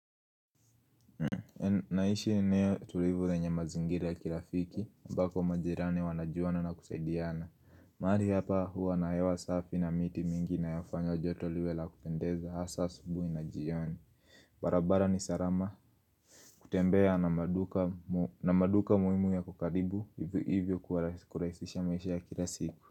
Naishi eneo tulivu lenye mazingira ya kirafiki, ambako majirani wanajuana na kusaidiana mahali hapa huwa na hewa safi na miti mingi inayofanya joto liwe la kupendeza hasa asubuhi na jioni barabara ni salama kutembea na maduka muhimu yako karibu hivyo kurahisisha maisha ya kila siku.